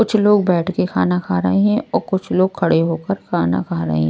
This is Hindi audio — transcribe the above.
कुछ लोग बैठ के खाना खा रहे हैं और कुछ लोग खड़े होकर खाना खा रहे--